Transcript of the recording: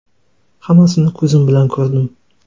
Hammasini ko‘zim bilan ko‘rdim.